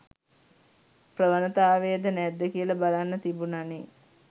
ප්‍රවණතාවයද නැද්ද කියල බලන්න තිබුණනෙ.